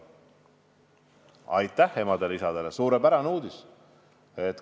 Aitäh emadele ja isadele, suurepärane uudis!